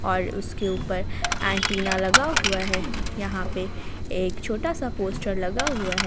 और उसके ऊपर एंटीना लगा हुआ है यहां पे एक छोटा सा पोस्टर लगा हुआ है।